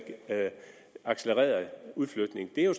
accelererede udflytningen det er jo